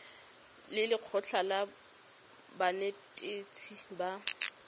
le lekgotlha la banetetshi ba